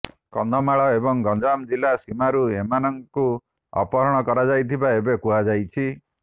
କନ୍ଧମାଳ ଏବଂ ଗଞ୍ଜାମ ଜିଲ୍ଲା ସୀମାରୁ ଏମାନଙ୍କୁ ଅପହରଣ କରାଯାଇଥିବା ଏଥିରେ କୁହାଯାଇଛି